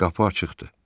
Qapı açıqdır.